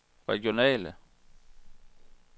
regionale